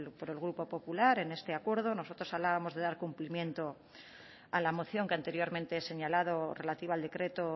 por el grupo popular en este acuerdo nosotros hablábamos de dar cumplimiento a la moción que anteriormente he señalado relativa al decreto